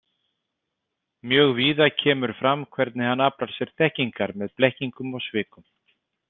Mjög víða kemur fram hvernig hann aflar sér þekkingar með blekkingum og svikum.